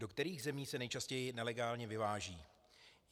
Do kterých zemí se nejčastěji nelegálně vyváží?